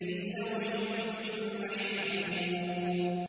فِي لَوْحٍ مَّحْفُوظٍ